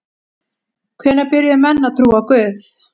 Hvenær byrjuðu menn að trúa á guð?